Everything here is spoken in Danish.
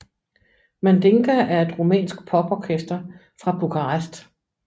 Mandinga er et rumænsk poporkester fra Bukarest